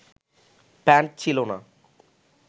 pant ছিলো না